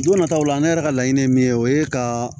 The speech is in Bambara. N nana taa ola ne yɛrɛ ka laɲini ye min ye o ye ka